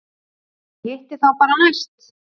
Ég hitti þá bara næst.